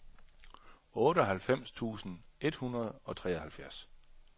otteoghalvfems tusind et hundrede og treoghalvfems